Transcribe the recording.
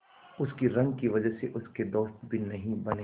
उसकी रंग की वजह से उसके दोस्त भी नहीं बने